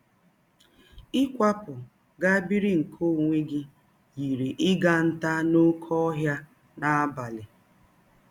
Ịkwapụ gaa biri nke ọnwe gị yiri ịga ntá n’ọké ọhịa n’abalị.